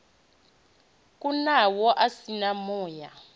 kunaho a si na muya